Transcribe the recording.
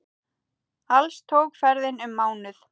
Alls tók ferðin um mánuð.